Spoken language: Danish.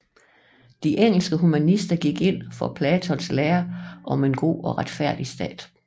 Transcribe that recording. De engelske humanister gik ind for Platons lære om en god og retfærdig stat